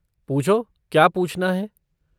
पूछो, क्या पूछना है?